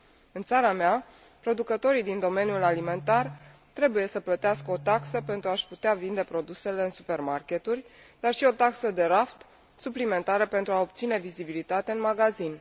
În țara mea, producătorii din domeniul alimentar trebuie să plătească o taxă pentru a și putea vinde produsele în supermarketuri, dar și o taxă de raft, suplimentară, pentru a obține vizibilitate în magazin.